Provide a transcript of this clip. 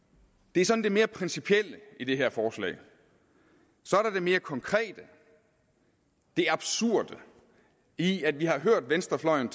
det er sådan det mere principielle i det her forslag så er der det mere konkrete det absurde i at vi tidligere har hørt venstrefløjen